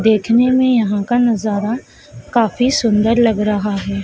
देखने में यहां का नजारा काफी सुंदर लग रहा है।